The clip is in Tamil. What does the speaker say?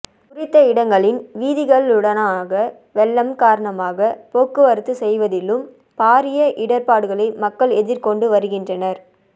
குறித்த இடங்களின் வீதிகளினூடாக வெள்ளம் காரணமாக போக்குவரத்து செய்வதிலும் பாரிய இடர்பாடுகளை மக்கள் எதிர்கொண்டு வருகின்றனர்